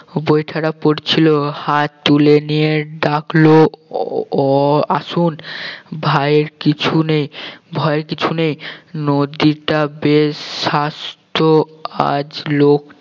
বৈঠাটা পড়ছিল হাত তুলে নিয়ে ডাকল ও আসুন ভয়ের কিছু নেই ভয়ের কিছু নেই নদীটা বেশ স্বাস্থ্য আজ লোক